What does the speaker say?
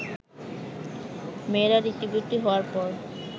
মেয়েরা ঋতুবতী হওয়ার পর